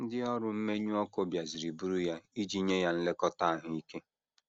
Ndị ọrụ mmenyụ ọkụ bịaziri buru ya iji nye ya nlekọta ahụ ike.